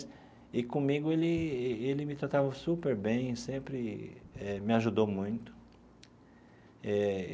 E comigo ele ele me tratava super bem, sempre eh me ajudou muito eh.